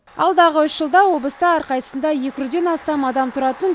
алдағы үш жылда облыста әрқайсысында екі жүзден астам адам тұратын